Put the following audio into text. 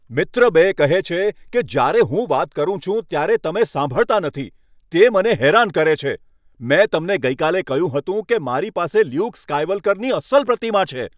મિત્ર બે કહે છે કે. જ્યારે હું વાત કરું છું ત્યારે તમે સાંભળતા નથી ત્યારે તે મને હેરાન કરે છે. મેં તમને ગઈકાલે કહ્યું હતું કે મારી પાસે લ્યુક સ્કાયવલ્કરની અસલ પ્રતિમા છે.